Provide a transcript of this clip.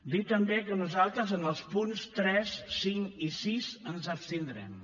dir també que nosaltres en els punts tres cinc i sis ens abstindrem